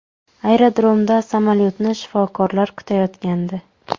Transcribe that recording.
Aerodromda samolyotni shifokorlar kutayotgandi.